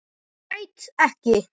Græt ekki.